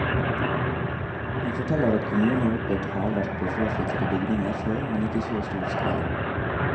Han forteller at kommunen har opplevd hærverk på fraflyttede bygninger før, men ikke i så stor skala.